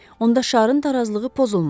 Onda şarın tarazlığı pozulmaz.